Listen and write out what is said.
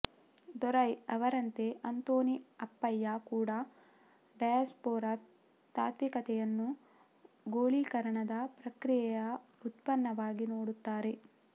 ದೊರೈ ಅವರಂತೆ ಅಂತೋನಿ ಅಪ್ಪಯ್ಯ ಕೂಡ ಡಯಾಸ್ಪೊರಾ ತಾತ್ವಿಕತೆಯನ್ನು ಗೋಳೀಕರಣದ ಪ್ರಕ್ರಿಯೆಯ ಉತ್ಪನ್ನವಾಗಿ ನೋಡುತ್ತಾರೆ